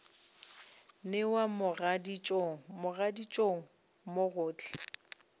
newa mogaditšong mogaditšong mo gohle